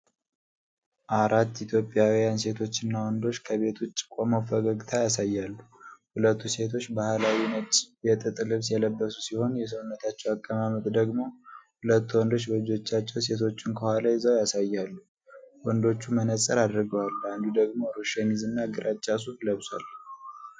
አራት ኢትዮጵያውያን ሴቶችና ወንዶች ከቤት ውጭ ቆመው ፈገግታ ያሳያሉ። ሁለቱ ሴቶች ባህላዊ ነጭ የጥጥ ልብስ የለበሱ ሲሆን፤ የሰውነታቸው አቀማመጥ ደግሞ ሁለቱ ወንዶች በእጆቻቸው ሴቶቹን ከኋላ ይዘው ያሳያል። ወንዶቹ መነጽር አድርገዋል፤ አንዱ ደግሞ ሮዝ ሸሚዝና ግራጫ ሱፍ ለብሷል።